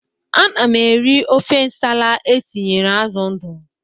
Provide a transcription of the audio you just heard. Ana m eri ofe nsala e tinyere azụ ndụ.